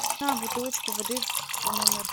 бутылочку воды в номер